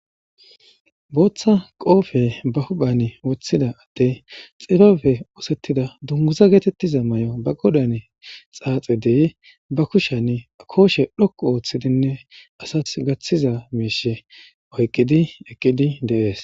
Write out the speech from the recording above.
Booththa qoofe ba huphan woththida addey xibabe oosettida dunguza geetettiza may'o ba godan xaaxe deye ba kushan kooshe dhokku ooththidinne asath gaththiza miishe oyqqidi eqqidi deees.